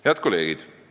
Head kolleegid!